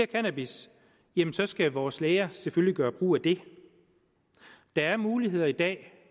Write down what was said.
cannabis jamen så skal vores læger selvfølgelig gøre brug af det der er muligheder i dag